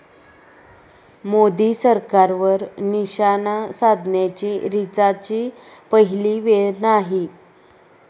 मोदी सरकारवर निशाणा साधण्याची रिचाची पहिली वेळ नाही.